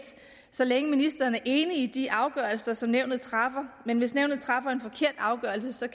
så længe ministeren er enig i de afgørelser som nævnet træffer men hvis nævnet træffer en forkert afgørelse så